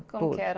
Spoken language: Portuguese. Como que era?